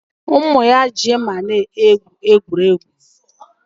Ụmụ ya ji mma egwu egwuregwu